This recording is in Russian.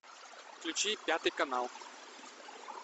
включи пятый канал